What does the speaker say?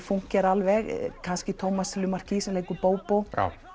fúnkera alveg kannski Tómas Lemarquis sem leikur Bóbó